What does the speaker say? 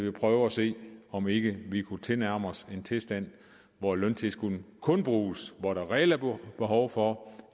at prøve at se om ikke vi kunne tilnærme os en tilstand hvor løntilskuddene kun bruges hvor der reelt er behov for